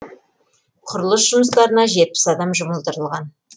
құрылыс жұмыстарына жетпіс адам жұмылдырылған